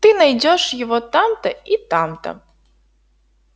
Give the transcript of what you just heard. ты найдёшь его там-то и там-то